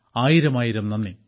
ആയിരമായിരം നന്ദി